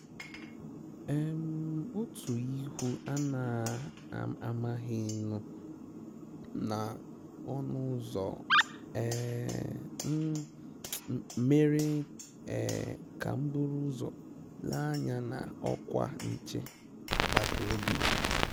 um Otu ihu a na-amaghị nụ na ọnụ́ ụ́zọ̀ um m, mèrè um kà m buru ụ́zọ̀ lèè ányá na ọ́kwá nchè agbata obi.